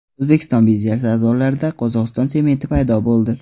O‘zbekiston birja savdolarida Qozog‘iston sementi paydo bo‘ldi.